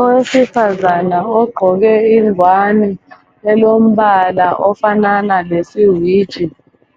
Owesifazana ogqoke ingwane elombala ofanana lesiwiji